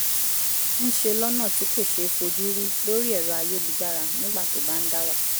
ń ṣe lọ́nà tí kò ṣeé fojú rí lórí èrọ ayélujára nígbà tó bá ń dá wà